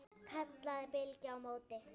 kallaði Bylgja á móti.